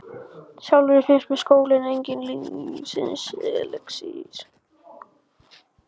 Sjálfri finnst mér skóli enginn lífsins elexír.